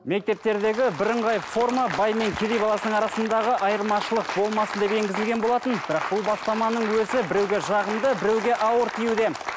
мектептердегі бірыңғай форма бай мен кедей баласының арасындағы айырмашылық болмасын деп енгізілген болатын бірақ бұл бастаманың өзі біреуге жағымды біреуге ауыр тиюде